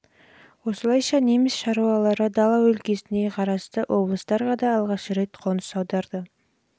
осылайша неміс шаруалары дала өлкесіне қарасты облыстарға да алғаш рет қоныс аударды